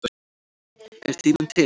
Er tíminn til?